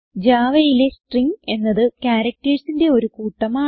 Javaയിലെ സ്ട്രിംഗ് എന്നത് charactersന്റെ ഒരു കൂട്ടമാണ്